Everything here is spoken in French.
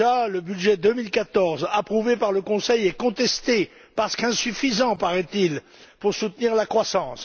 Le budget 2014, approuvé par le Conseil, est d'ores et déjà contesté parce qu'insuffisant paraît il pour soutenir la croissance.